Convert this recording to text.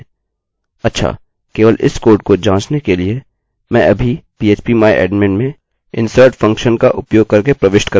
अच्छाकेवल इस कोड को जाँचने के लिए मैं अभी php myadmin में insert फंक्शनfunctionका उपयोग करके प्रविष्ट करूँगा और मैं एक और रिकार्डअभिलेखजोड़ दूँगी